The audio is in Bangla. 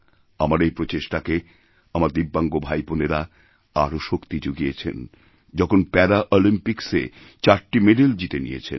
আমার এই প্রচেষ্টাকে আমারদিব্যাঙ্গ ভাইবোনেরা আরও শক্তি জুগিয়েছেন যখন প্যারা অলিম্পিক্সে চারটি মেডেলজিতে নিয়েছেন